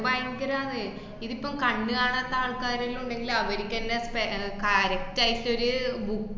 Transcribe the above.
ഭയങ്കരം ആന്നേ. ഇതിപ്പം കണ്ണ് കാണാത്ത ആൾക്കാരെല്ലോം ഉണ്ടെങ്കില് അവര്ക്കന്നെ പെ~ ആഹ് correct ആയിട്ടൊരു ബു~